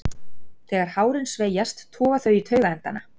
Þegar hárin sveigjast toga þau í taugaendana.